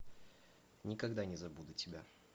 никогда не забуду тебя